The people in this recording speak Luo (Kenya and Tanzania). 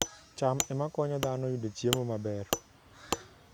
cham ema konyo dhano yudo chiemo maber